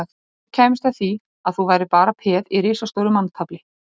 Ef þú kæmist að því að þú værir bara peð í risastóru manntafli